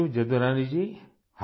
شکریہ یدو رانی راجی